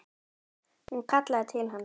Hún kallaði til hans.